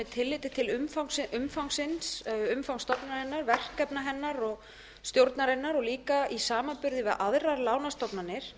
tilliti til umfangs stofnunarinnar verkefna hennar og stjórnarinnar og líka í samanburði við aðrar lánastofnanir